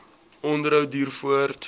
onderhou duur voort